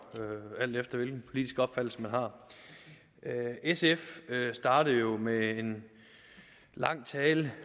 alt efter hvilken politisk opfattelse man har sf startede jo med en lang tale